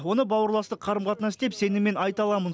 оны бауырластық қарым қатынас деп сеніммен айта аламын